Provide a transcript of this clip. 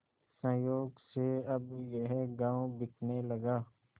संयोग से अब यह गॉँव बिकने लगा